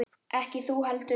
Ekki þú heldur.